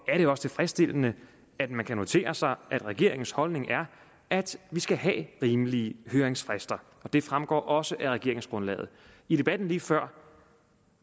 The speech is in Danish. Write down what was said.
er det også tilfredsstillende at man kan notere sig at regeringens holdning er at vi skal have rimelige høringsfrister det fremgår også af regeringsgrundlaget i debatten lige før